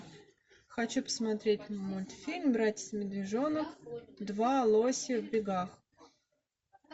хочу посмотреть мультфильм братец медвежонок два лоси в бегах